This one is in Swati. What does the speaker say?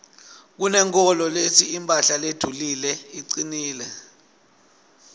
kunenkholo letsi imphahla ledulile icinile